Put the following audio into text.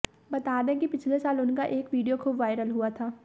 बता दें कि पिछले साल उनका एक वीडियो खूब वायरल हुआ था